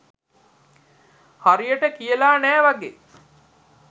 හරියට කියල නෑ වගේ.